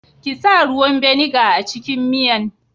Kisa ruwan vinegar a cikin miyan.